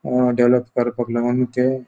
अ develop करपाक लागोन ते --